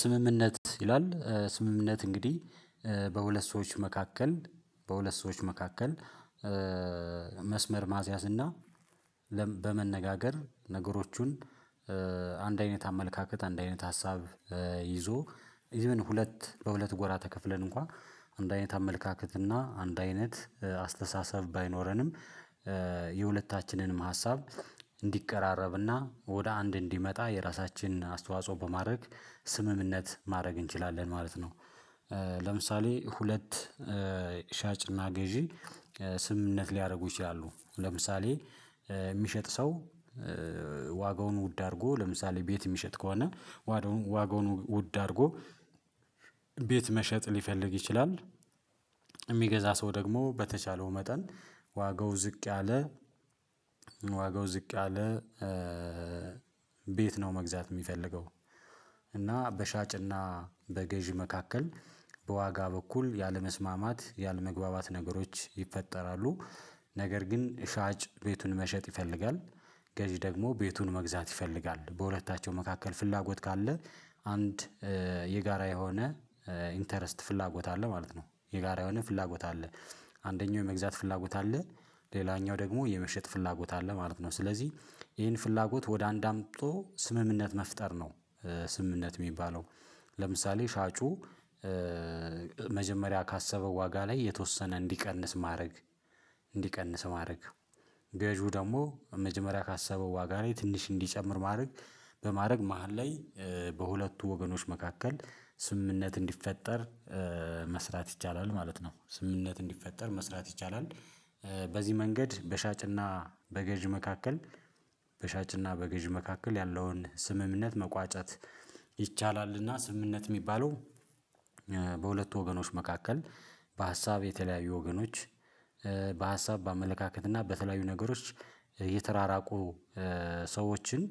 ስምምነት ይላል ስምምነት እንግዲህ በሁለት ሰዎች መካከል በሁለት ሰዎች መካከል መስመር ማስያዝ እና በመነጋገር ነገሮቹን አንድ አይነት አመለካከት አንድ አይነት ሀሳብ ይዞ ሁለት በሁለት ጎራ ተከፍለን እንኳ አንድ አይነት አመለካከት እና አንድ አይነት አስተሳሰብ ባይኖረንም የሁለታችንንም ሀሳብ እንዲቀራረብና ወደ አንድ እንዲመጣ የራሳችንን አስተዋጽኦ በማድረግ ስምምነት ማረግ እንችላለን ማለት ነው። ለምሳሌ ሁለት ሻጭና ገዢ ስምምነት ሊያደርጉ ይችላሉ። ለምሳሌ ሚሸጥ ሰው ዋጋውን ውድ አድርጎ ለምሳሌ ቤት ሚሸጥ ከሆነ ዋጋውን ውድ አድርጎ ቤት መሸጥ ሊፈልግ ይችላል። የሚገዛ ሰው ደግሞ በተቻለው መጠን ዋጋው ዝቅ ያለ ዋጋው ዝቅ ያለ ቤት ነው መግዛት የሚፈልገው። እና በሻጭና በገዢ መካከል በዋጋ በኩል ያለመስማማት ያለመግባባት ነገሮች ይፈጠራሉ። ነገር ግን ሻጭ ቤቱን መሸጥ ይፈልጋል። ገዢ ደግሞ ቤቱን መግዛት ይፈልጋል በሁለታቸው መካከል ፍላጎት ካለ አንድ የጋራ የሆነ ኢንተረስት ፍላጎት አለ ማለት ነው። የጋራ የሆነ ፍላጎት አለ። አንደኛው የመግዛት ፍላጎት አለ ሌላኛው ደግሞ የመሸጥ ፍላጎት አለ ማለት ነው። ስለዚህ ይሄን ፍላጎት ወደ አንድ አምቶ ስምምነት መፍጠር ነው። ስምምነት ሚባለው። ለምሳሌ ሻጩ መጀመሪያ ካሰበው ዋጋ ላይ የተወሰነ እንዲቀንስ ማረግ እንዲቀንስ ማረግ። ገዢው ደግሞ መጀመሪያ ካሰበው ዋጋ ላይ ትንሽ እንዲጨምር ማረግ በማረግ ምሃል ላይ በሁለቱ ወገኖች መካከል ስምምነት እንዲፈጠር መስራት ይቻላል ማለት ነው። ስምምነት እንዲፈጠር መስራት ይቻላል። በዚህ መንገድ በሻጭና በገዥ መካከል በሻጭና በገዥ መካከል ያለውን ስምምነት መቋጨት። ይቻላልና ስምምነት የሚባለው በሁለቱ ወገኖች መካከል በሀሳብ የተለያዩ ወገኖች በሀሳብ በአመለካከት እና በተለያዩ ነገሮች የተራራቁ ሰዎችን